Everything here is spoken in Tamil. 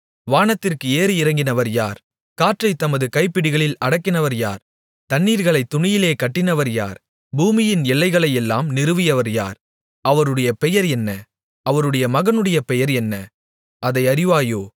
வானத்திற்கு ஏறி இறங்கினவர் யார் காற்றைத் தமது கைப்பிடிகளில் அடக்கினவர் யார் தண்ணீர்களை துணியிலே கட்டினவர் யார் பூமியின் எல்லைகளையெல்லாம் நிறுவியவர் யார் அவருடைய பெயர் என்ன அவருடைய மகனுடைய பெயர் என்ன அதை அறிவாயோ